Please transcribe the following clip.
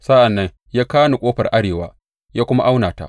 Sa’an nan ya kawo ni ƙofar arewa ya kuma auna ta.